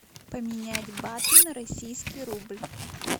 поменять баты на российский рубль